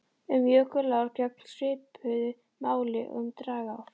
Um jökulár gegnir svipuðu máli og um dragár.